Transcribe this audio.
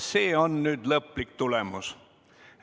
See on nüüd lõplik tulemus.